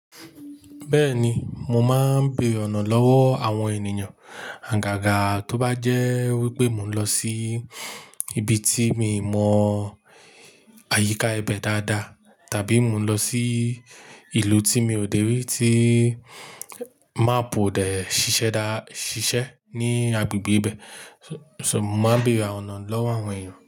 Bẹ́ẹ̀ni, mo máa ń béèrè ọ̀nà lọ́wọ́ àwọn ènìyàn. Àgàgà tó bá jẹ́ wípé mo ń lọ sí ibi tí mi mọ àyíká ibẹ̀ dáadáa, tàbí mo ń lọ sí ìlú tí mi ò dè rí tí máàpù odè ṣíṣẹ́ dá, ṣíṣe ní agbègbè ibẹ̀. So, mo máa ń béèrè àwọn ọ̀nà lọ́wọ́ àwọn èyàn.